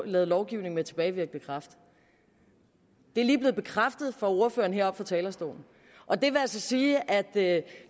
lavet lovgivning med tilbagevirkende kraft det er lige blevet bekræftet af ordføreren heroppe på talerstolen og det vil altså sige at